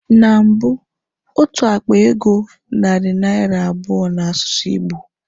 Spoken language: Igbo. Na mbụ, otu akpa ego narị naira abụọ n'asụsụ Igbo.